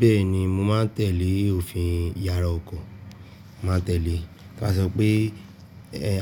Bẹ́ẹ̀ni, mo máa ń tẹ̀lé òfin ìyára ọkọ̀, màá tẹ̀lé. Bí wọ́n bá sọ pé